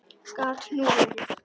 Gat nú verið!